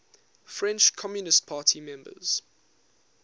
french communist party members